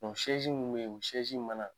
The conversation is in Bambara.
minnu bɛ yen o mana